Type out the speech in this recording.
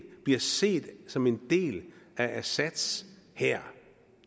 bliver set som en del af assads hær